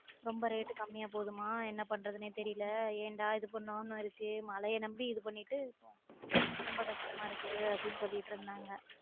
ரொம்ப rate கம்மியா போகுதுமா என்ன பன்றதுனே தெரியல ஏன்டா இது பன்னோம்ன்னு இருக்கு மழைய நம்பி இது பண்ணிட்டு ரொம்ப கஷ்டமா இருக்கு அப்டின்னு சொல்லிட்டு இருந்தாங்க